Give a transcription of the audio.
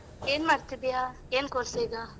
ಏನ್ ಮಾಡ್ತಿದ್ದೀಯಾ? ಏನ್ course ಈಗ?